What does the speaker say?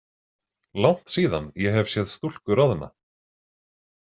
Langt síðan ég hef séð stúlku roðna.